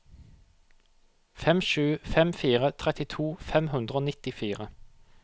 fem sju fem fire trettito fem hundre og nittifire